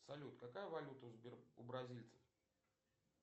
салют какая валюта у бразильцев